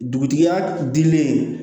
Dugutigi ya dilen